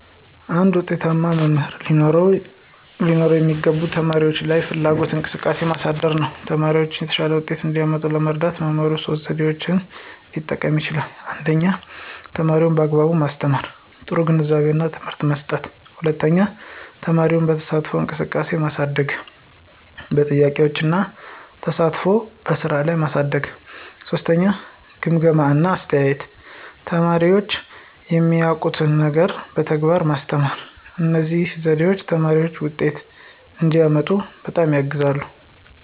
አንድ ዉጤታማ መምህር ሊኖረው የሚገባው ተማሪዎች ላይ ፍላጎትና እንቅስቃሴ ማሳደግ ነው። ተማሪዎቻቸው የተሻለ ውጤት እንዲያመጡ ለመርዳት መምህሩ ሶስት ዘዴዎችን ሊጠቀም ይችላል 1) ተማሪን በአግባቡ ማስተማር – ጥሩ ግንዛቤና ትምህርት መስጠት፣ 2) ተማሪን በተሳትፎ እንቅስቃሴ ማሳደግ – በጥያቄዎች እና ተሳትፎ በስራ ላይ ማሳደግ፣ 3) ግምገማ እና አስተያየት – ተማሪዎች የማያውቁትን ነገር በተግባር ማስተማር። እነዚህ ዘዴዎች ተማሪዎች ውጤት እንዲያመጡ በጣም ያግዛሉ።